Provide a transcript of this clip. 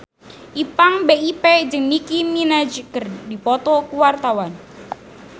Ipank BIP jeung Nicky Minaj keur dipoto ku wartawan